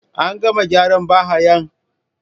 An gama gyaran ba hayan?.